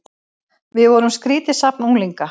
Við vorum skrýtið safn unglinga.